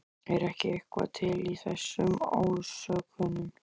Er ekki eitthvað til í þessum ásökunum?